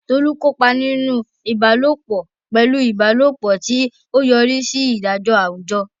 Tolu kópa nínú ìbálòpọ̀ pẹ̀lú ìbálòpọ̀, tí ó yọrí sí ìdájọ́ àwùjọ.